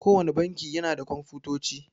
Kowanne banki yana da Komfutoci.